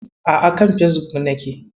A'a, a kan Fesbuk nake.